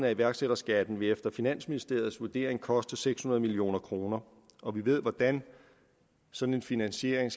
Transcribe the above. af iværksætterskatten vil efter finansministeriets vurdering koste seks hundrede million kr og vi ved hvordan sådan en finansiering